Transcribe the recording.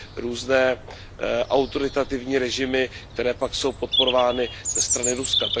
různé autoritativní režimy, které pak jsou podporovány ze strany Ruska.